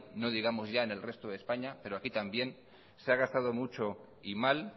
no digamos ya en el resto españa pero aquí también se ha gastado mucho y mal